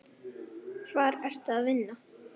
Hvar ertu að vinna?